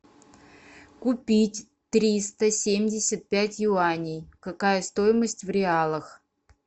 купить триста семьдесят пять юаней какая стоимость в реалах